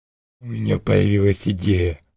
у меня появилась идея